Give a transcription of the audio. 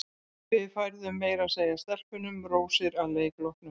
Við færðum meira að segja stelpunum rósir að leik loknum.